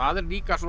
er líka